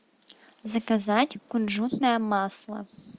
заказать кунжутное масло